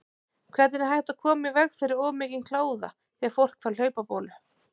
Hvernig er hægt að koma í veg fyrir of mikinn kláða þegar fólk fær hlaupabólu?